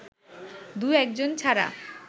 দু-একজন ছাড়া